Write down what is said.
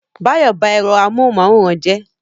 Báyọ̀ ba ẹ̀rọ amóhunmáwòrán jẹ́